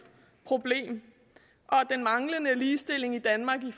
problem og at den manglende ligestilling i danmark med